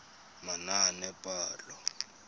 manaanepalo